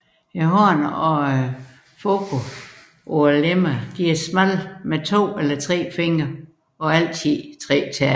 Hånd og fod på lemmerne er smalle med to eller tre fingre og altid tre tæer